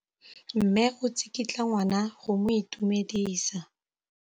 Mme o tsikitla ngwana go mo itumedisa.